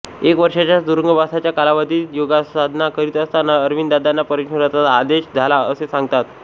एक वर्षाच्या तुरुंगवासाच्या कालावधीत योगसाधना करीत असताना अरविंदांना परमेश्वराचा आदेश झाला असे सांगतात